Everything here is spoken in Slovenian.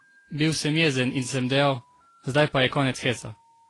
Bil sem jezen in sem dejal: "Zdaj pa je konec heca.